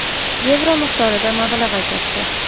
yevro miqdorida mablag‘ ajratdi.